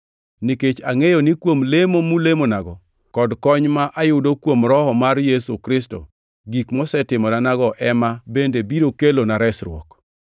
nikech angʼeyo ni kuom lemo mulemonago kod kony ma ayudo kuom Roho mar Yesu Kristo, gik mosetimorenago ema bende biro kelona resruok.